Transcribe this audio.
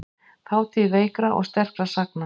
Þátíð veikra og sterkra sagna.